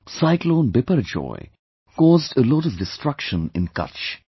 Cyclone Biparjoy caused a lot of destruction in Kutch